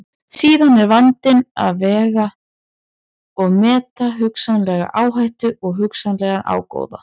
Síðan er vandinn að vega og meta hugsanlega áhættu og hugsanlegan ágóða.